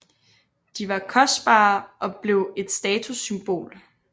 De var kostbare og blev et statussymbol